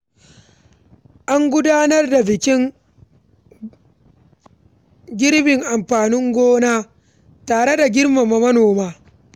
An gudanar da bikin girbin amfanin gona tare da girmama manoma.